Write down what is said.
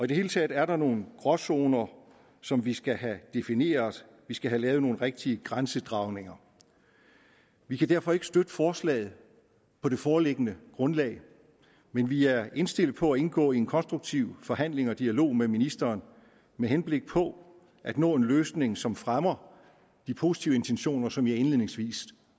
det hele taget er der nogle gråzoner som vi skal have defineret vi skal have lavet nogle rigtige grænsedragninger vi kan derfor ikke støtte forslaget på det foreliggende grundlag men vi er indstillet på at indgå i en konstruktiv forhandling og dialog med ministeren med henblik på at nå en løsning som fremmer de positive intentioner som jeg indledningsvis